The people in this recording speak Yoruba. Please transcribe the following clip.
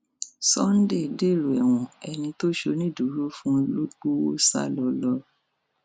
sunday dèrò ẹwọn ẹni tó ṣonídùúró fún ló gbowó sá lọ lọ